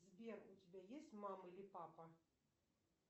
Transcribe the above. сбер у тебя есть мама или папа